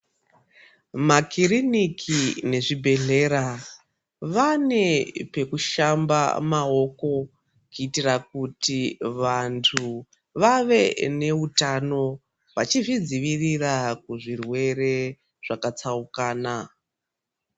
Makiriniki nezvibhedhleya vane pekushamba maoko kuitira kuti vantu vave neutano vachizvidzivirira kuzvirwere zvakatsaukana.